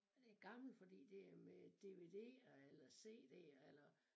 Og det gammelt fordi det er med dvd'er eller cd'er eller